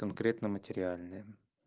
конкретно материальная